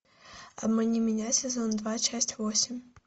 обмани меня сезон два часть восемь